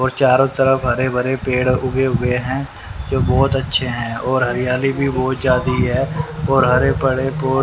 और चारों तरफ हरे भरे पेड़ उगे हुए हैं जो बहुत अच्छे हैं और हरियाली भी बहुत जादी है और हरे पड़े--